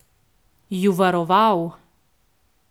Ju varoval?